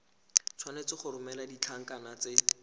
tshwanetse go romela ditlankana tse